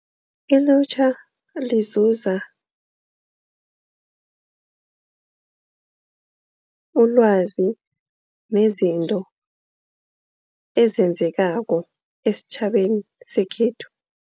Ilutjha lizuza ulwazi nezinto ezenzekako esitjhabeni sekhethu.